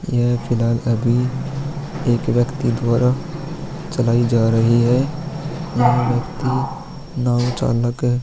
यह फिल्हाल अभी एक व्यक्ति द्वारा चलाई जा रही है यह नाव चालक हैं।